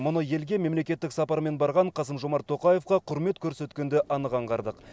мұны елге мемлекеттік сапармен барған қасым жомарт тоқаевқа құрмет көрсеткенде анық аңғардық